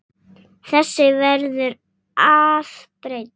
Þessu verður að breyta!